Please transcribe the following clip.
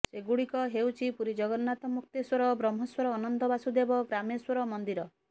ସେଗୁଡ଼ିକ ହେଉଛି ପୁରୀ ଜଗନ୍ନାଥ ମୁକ୍ତେଶ୍ୱର ବ୍ରହ୍ମେଶ୍ୱର ଅନନ୍ତ ବାସୁଦେବ ଗ୍ରାମେଶ୍ୱର ମନ୍ଦିର